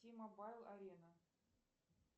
ти мобайл арена